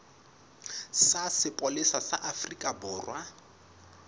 sa sepolesa sa afrika borwa